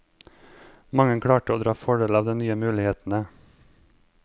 Mange klarte å dra fordel av de nye mulighetene.